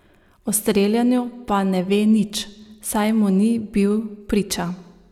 O streljanju pa ne ve nič, saj mu ni bil priča.